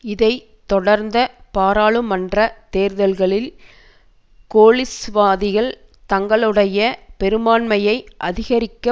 இதை தொடர்ந்த பாராளுமன்ற தேர்தல்களில் கோலிசவாதிகள் தங்களுடைய பெரும்பான்மையை அதிகரிக்க